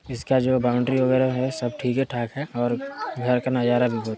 इसके बाजु बाउंड्री वगेरा भी है सब ठीके ठाक है और घर के नजारा भी--